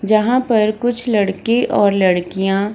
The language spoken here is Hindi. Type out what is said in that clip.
जहां पर कुछ लड़के और लड़कियां --